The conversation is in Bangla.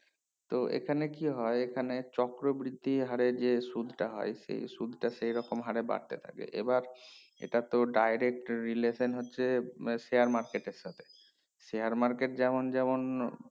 তো এখানে কি হয়ে এখানে চক্রবৃদ্ধি হরে যে সুদ টা হয় সেই সুদ টা সেই রকম হরে বাড়তে থাকে এবার এটা তো direct relation হয়েছে আছে share market এর সাথে share market যেমন যেমন